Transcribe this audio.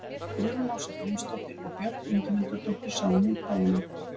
Guðrún Ása Grímsdóttir og Björk Ingimundardóttir sáu um útgáfuna.